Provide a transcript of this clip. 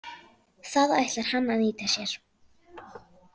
Það ætlar hann að nýta sér.